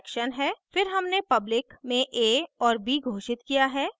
फिर हमने public में a और b घोषित किया है